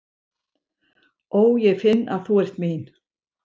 Ó, ég finn að þú ert mín.